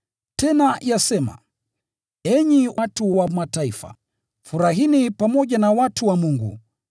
Tena yasema, “Enyi watu wa Mataifa, furahini pamoja na watu wa Mungu.”